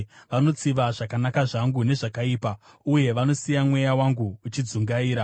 Vanotsiva zvakanaka zvangu nezvakaipa, uye vanosiya mweya wangu uchidzungaira.